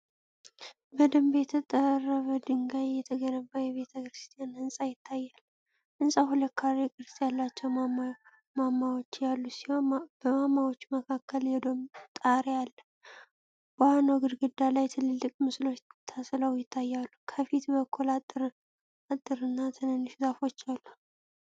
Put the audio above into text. በደንብ በተጠረበ ድንጋይ የተገነባ የቤተ ክርስቲያን ህንፃ ይታያል። ህንጻው ሁለት ካሬ ቅርጽ ያላቸው ማማዎች ያሉት ሲሆን፣ በማማዎቹ መካከል የዶም ጣሪያ አለ። በዋናው ግድግዳ ላይ ትልልቅ ምስሎች ተስለው ይታያሉ። ከፊት በኩል አጥርና ትንንሽ ዛፎች አሉ።